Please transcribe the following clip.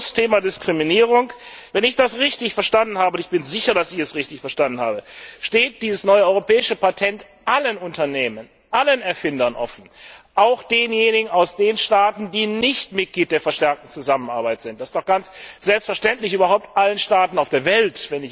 Abschließend zum Thema Diskriminierung Wenn ich das richtig verstanden habe und ich bin sicher, dass ich es richtig verstanden habe steht dieses neue europäische Patent allen Unternehmen, allen Erfindern, offen, auch denjenigen aus den Staaten, die nicht Mitglied der verstärkten Zusammenarbeit sind, überhaupt allen Staaten auf der Welt.